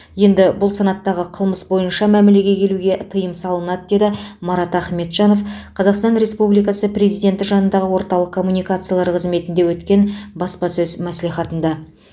енді бұл санаттағы қылмыс бойынша мәмілеге келуге тыйым салынады деді марат ахметжанов қазақстан республикасы президенті жанындағы орталық коммуникациялар қызметінде өткен баспасөз мәслихатында